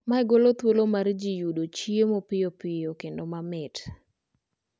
Mae golo thuolo mar jii yudo chiemo piyopiyo kendo mamit